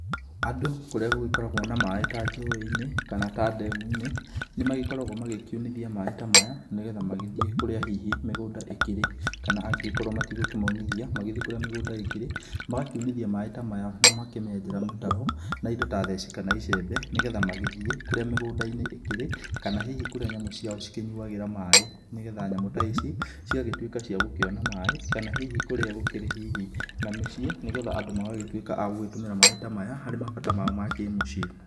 Andũ kũrĩa gũgĩkoragwo na maĩ ta njũ-inĩ kana ta ndemu-inĩ nimagĩkoragwo magĩkiunithia maĩ ta maya, ni getha magĩthiĩ kũrĩa hihi mĩgũnda ĩkĩrĩ, kana angĩgĩkorwo matigũkĩmaunithia magĩthiĩ kũrĩa mĩgũnda ĩkĩrĩ, magakiunithia maĩ ta maya na magakĩmenjera mĩtaro na indo ta theci kana icembe nĩ getha magĩthiĩ kũrĩa mĩgũnda-inĩ ĩkĩrĩ, kana hihi kũrĩa nyamũ ciao cikĩnyuagĩra maĩ, ni getha nyamũ ta ici cigagĩtuĩka cia gũkĩona maĩ, kana hihi kũrĩa gũkĩrĩ hihi na mĩciĩ, nigetha andũ magagĩtwĩka a gũgĩtũmĩra maĩ ta maya harĩ mabata mao ma kĩmũciĩ.